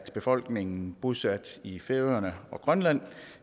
at befolkningen bosat i færøerne og grønland